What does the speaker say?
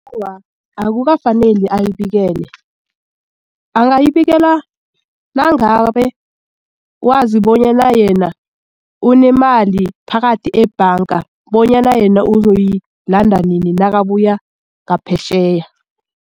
Awa, akukafaneli ayibikele angayibikeka nangabe wazi bonyana yena unemali phakathi ebhanga bonyana yena uzoyilanda ninj nakabuya ngaphetjheya.